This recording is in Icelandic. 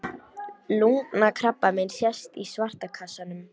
Lungnakrabbamein sést í svarta kassanum.